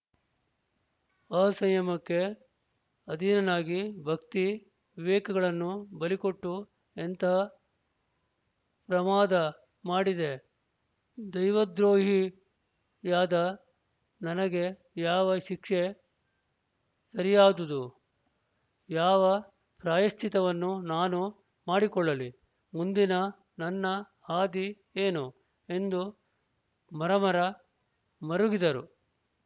ಅಸಂಯಮಕ್ಕೆ ಅಧೀನನಾಗಿ ಭಕ್ತಿವಿವೇಕಗಳನ್ನು ಬಲಿಕೊಟ್ಟು ಎಂತಹ ಪ್ರಮಾದ ಮಾಡಿದೆ ದೈವದ್ರೋಹಿಯಾದ ನನಗೆ ಯಾವ ಶಿಕ್ಷೆ ಸರಿಯಾದುದು ಯಾವ ಪ್ರಾಯಶ್ಚಿತ್ತವನ್ನು ನಾನು ಮಾಡಿಕೊಳ್ಳಲಿ ಮುಂದಿನ ನನ್ನ ಹಾದಿ ಏನು ಎಂದು ಮರಮರ ಮರುಗಿದರು